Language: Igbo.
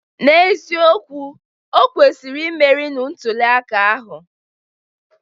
N'eziokwu, o kwesịrị imeri na ntuli aka ahụ.